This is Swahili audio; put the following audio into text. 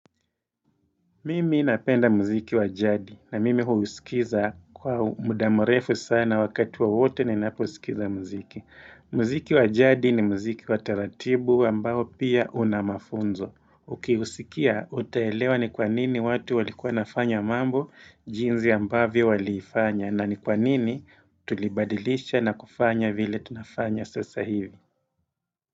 Mimi napenda mziki wa jadi na mimi huusikiza kwa muda mrefu sana wakati wowote ninaposkiza mziki. Mziki wa jadi ni mziki wa taratibu ambao pia una mafunzo. Ukiusikia, utaelewa ni kwa nini watu walikuwa wanafanya mambo, jinzi ambavyo walifanya, na ni kwa nini tulibadilisha na kufanya vile tunafanya sasa hivi.